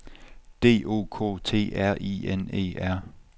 D O K T R I N E R